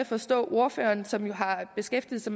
forstå ordføreren som jo har beskæftiget sig